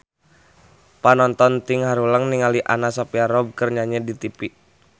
Panonton ting haruleng ningali Anna Sophia Robb keur nyanyi di tipi